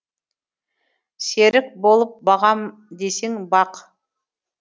серік болып бағам десең бақ